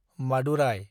Madurai